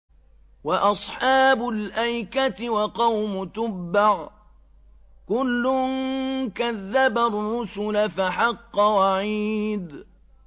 وَأَصْحَابُ الْأَيْكَةِ وَقَوْمُ تُبَّعٍ ۚ كُلٌّ كَذَّبَ الرُّسُلَ فَحَقَّ وَعِيدِ